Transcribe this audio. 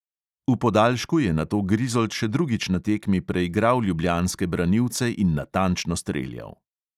V podaljšku je nato grizold še drugič na tekmi preigral ljubljanske branilce in natančno streljal.